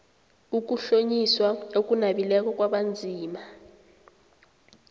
ukuhlonyiswa okunabileko kwabanzima